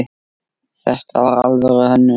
Þetta var alvöru hönnun.